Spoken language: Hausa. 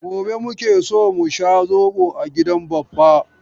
Gobe muke so mu sha zobo a gidan Baffa.